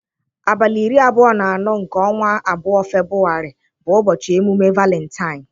Abalị iri abụo na anọ nke ọnwa abụọ (Febụwarị) bụ ụbọchị emume Valentine.